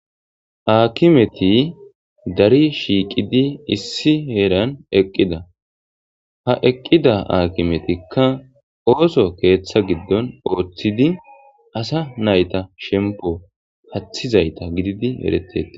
Aakimeti dari shiiqidi issi heeran eqqida ha eqqida aakimetikka ooso keeththa giddon ooththidi asa nayta shempo hathizayta gididi eretea